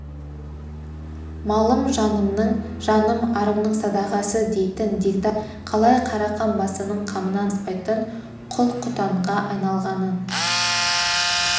малым жанымның жаным арымның садағасы дейтін дегдар халықтың қалай қарақан басының қамынан аспайтын құл-құтанға айналғанын